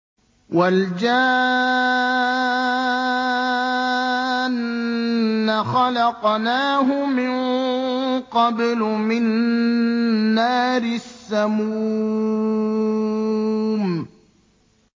وَالْجَانَّ خَلَقْنَاهُ مِن قَبْلُ مِن نَّارِ السَّمُومِ